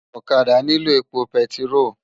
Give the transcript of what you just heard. Òkàdá niló épó pètiró